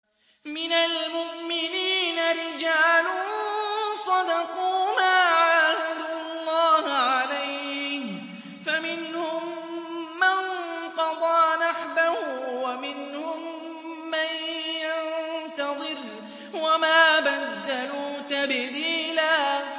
مِّنَ الْمُؤْمِنِينَ رِجَالٌ صَدَقُوا مَا عَاهَدُوا اللَّهَ عَلَيْهِ ۖ فَمِنْهُم مَّن قَضَىٰ نَحْبَهُ وَمِنْهُم مَّن يَنتَظِرُ ۖ وَمَا بَدَّلُوا تَبْدِيلًا